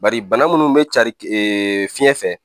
Bari bana munnu be cari fiɲɛ fɛ